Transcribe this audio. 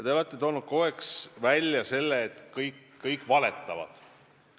Te olete kogu aeg väitnud, et kõik valetavad.